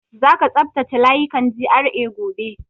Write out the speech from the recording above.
Za ka tsaftace layukan GRA gobe!